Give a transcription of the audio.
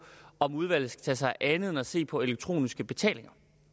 om udvalget skal tage sig af andet end at se på elektroniske betalinger